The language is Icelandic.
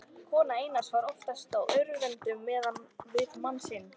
Kona Einars var oftast á öndverðum meiði við mann sinn.